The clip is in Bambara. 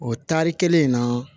O taari kelen in na